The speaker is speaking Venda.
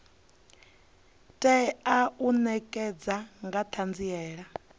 tea u ṋekana nga ṱhanziela